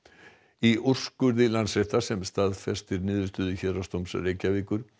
í úrskurði Landsréttar sem staðfestir niðurstöðu Héraðsdóms Reykjavíkur